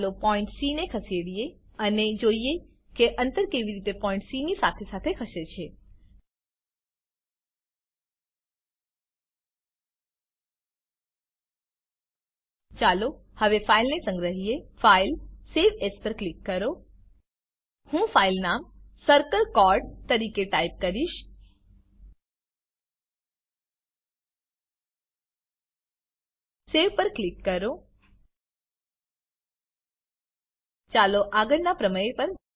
ચાલો point C ને ખસેડીએ અને જોઈએ કે અંતર કેવી રીતે પોઈન્ટ સી ની સાથે સાથે ખસે છે ચાલો હવે ફાઈલને સંગ્રહીએ ફાઇલ સવે એએસ પર ક્લિક કરો હું ફાઈલનું નામ circle ચોર્ડ તરીકે ટાઈપ કરીશ સવે પર ક્લિક કરો ચાલો આગળના પ્રમેય પર